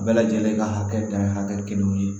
Bɛɛ lajɛlen ka hakɛ dan ye hakɛ kelen ye